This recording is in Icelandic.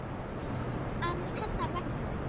aðeins hennar vegna.